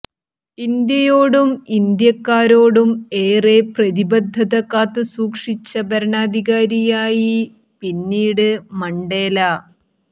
ഇന്ത്യയോടും ഇന്ത്യക്കാരോടും ഏറെ പ്രതിബദ്ധത കാത്തുസൂക്ഷിച്ച ഭരണാധികാരിയായി പിന്നീട് മണ്ടേല